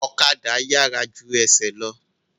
Ọ̀kadà yàrá ju ẹsẹ̀ lọ